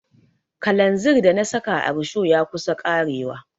Kalanzir da na saka a risho ya kusa ƙarewa.